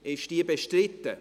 Ist sie bestritten?